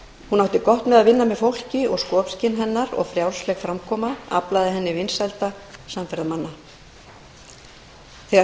hún átti gott með að vinna með fólki og skopskyn hennar og frjálsleg framkoma aflaði henni vinsælda samferðamanna þegar samtök